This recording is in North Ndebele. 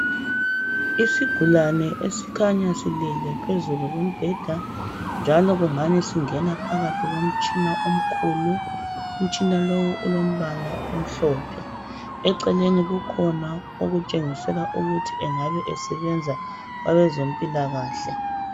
Isigulane esikhanya silele phezulu kombheda njalo kungani singena phakathi komtshina omkhulu. Umtshina lowu ulombala omhlophe. Eceleni kukhona okutshengisela ukuthi angabe esebenza kwezempilakahle.